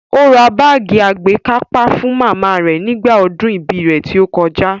Ó ra báàgì àgbékápá fún màmá rẹ̀ nígbà ọdún ibí rẹ̀ tí ó kọjá